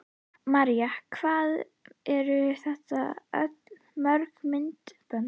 María: Hvað eru þetta mörg myndbönd?